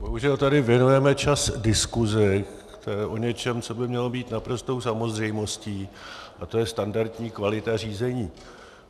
Bohužel tady věnujeme čas diskusi o něčem, co by mělo být naprostou samozřejmostí, a to je standardní kvalita řízení.